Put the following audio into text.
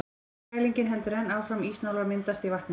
Kælingin heldur enn áfram, ísnálar myndast í vatninu.